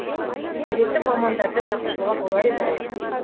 қажетті мамандарды шақыртуға болар еді ғой